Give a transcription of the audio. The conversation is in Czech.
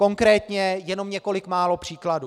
Konkrétně jenom několik málo příkladů.